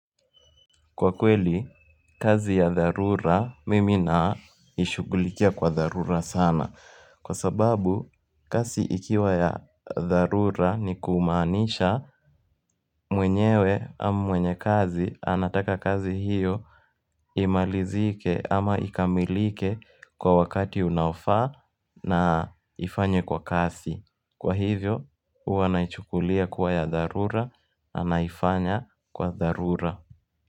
Kwa kweli, kazi ya tharura mimi naishugulikia kwa tharura sana. Kwa sababu, kazi ikiwa ya tharura ni kumaanisha mwenyewe ama mwenye kazi anataka kazi hiyo imalizike ama ikamilike kwa wakati unaofa na ifanywe kwa kasi. Kwa hivyo, huwa naichukulia kuwa ya tharura na naifanya kwa tharura.